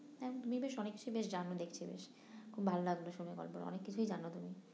তুমি বেশ অনেক কিছু বেশ জানো দেখছি বেশ খুব ভালো লাগলো শুনে গল্প অনেক কিছুই জানো তুমি